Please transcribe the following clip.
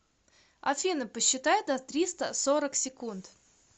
афина посчитай до триста сорок секунд